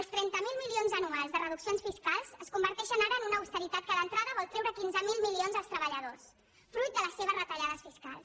els trenta miler milions anuals de reduccions fiscals es converteixen ara en una austeritat que d’entrada vol treure quinze mil milions als treballadors fruit de les seves retallades fiscals